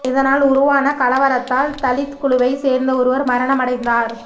இதனால் உருவான கலவரத்தால் தலித் குழுவை சேர்ந்த ஒருவர் மரணம் அடைந்தார்